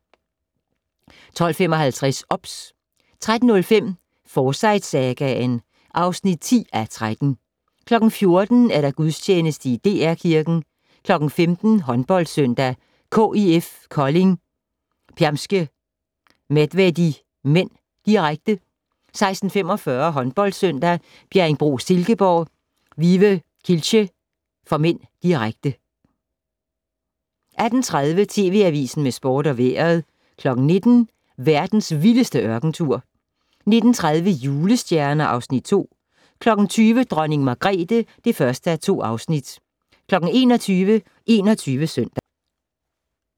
12:55: OBS 13:05: Forsyte-sagaen (10:13) 14:00: Gudstjeneste i DR Kirken 15:00: HåndboldSøndag: KIF Kolding-Permskie Medvedi (m), direkte 16:45: HåndboldSøndag: Bjerringbro-Silkeborg - Vive Kielce (m), direkte 18:30: TV Avisen med Sport og Vejret 19:00: Verdens vildeste ørkentur 19:30: Julestjerner (Afs. 2) 20:00: Dronning Margrethe (1:2) 21:00: 21 Søndag